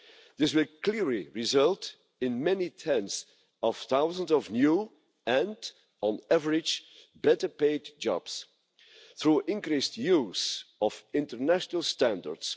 This will clearly result in many tens of thousands of new and, on average, better paid jobs through increased use of international standards.